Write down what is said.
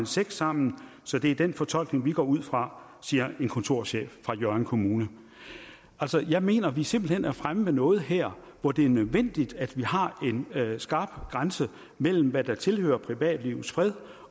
sex sammen så det er den fortolkning vi går ud fra siger en kontorchef fra hjørring kommune jeg mener vi simpelt hen er fremme ved noget her hvor det er nødvendigt at vi har en skarp grænse mellem hvad der tilhører privatlivets fred